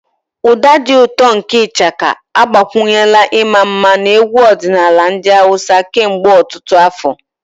Ụda dị ụtọ nke Ishaka agbakwunyela ịma mma na egwu ọdịnala ndị Hausa kemgbe ọtụtụ afọ.